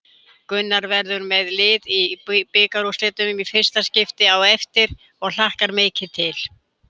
Gunnar verður með lið í bikarúrslitum í fyrsta skipti á eftir og hlakkar mikið til.